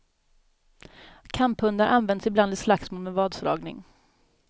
Kamphundar används ibland i slagsmål med vadslagning.